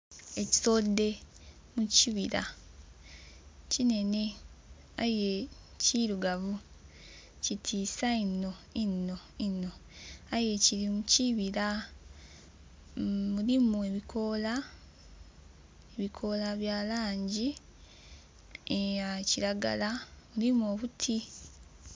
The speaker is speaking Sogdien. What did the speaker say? Ekisodhe mu kibira kinhenhe aye kirugavu, kitiisa inho, inho, inho. Aye kiri mukibira mulimu ebikoola, ebikoola bya langi eya kiragala. Mulimu obuti.